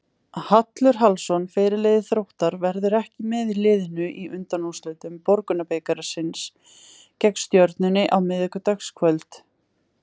Hallur Hallsson, fyrirliði Þróttar, verður ekki með liðinu í undanúrslitum Borgunarbikarsins gegn Stjörnunni á miðvikudagskvöld.